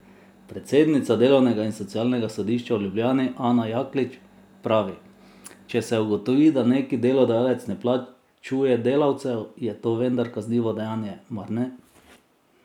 Predsednica delovnega in socialnega sodišča v Ljubljani Ana Jaklič pravi: "Če se ugotovi, da neki delodajalec ne plačuje delavcev, je to vendar kaznivo dejanje, mar ne?